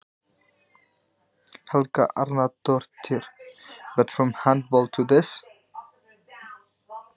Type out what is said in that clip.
Helga Arnardóttir: En, úr handboltanum í þetta?